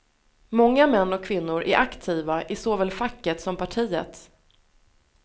Många män och kvinnor är aktiva i såväl facket som partiet.